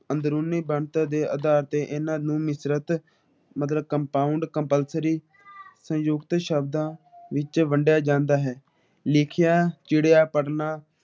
ਅੰਦਰੂਨੀ ਬਣਤਰ ਦੇ ਅਧਾਰ ਤੇ ਇਹਨਾਂ ਨੂੰ ਮਿਸ਼ਰਤ ਮਗਰ ਕੰਪਉਂਡ ਕੰਪਾਲਸਰੀ ਸੁਨਜੁਕਤੀ ਸ਼ਬਦਾਂ ਵਿੱਚ ਵੰਡਿਆ ਜਾਂਦਾ ਹੈ । ਲਿਖਿਆ ਚਿੜੀਆਂ ਪਦਮਾ